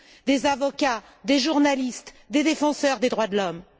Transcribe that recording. des avocats, des journalistes, des défenseurs des droits de l'homme.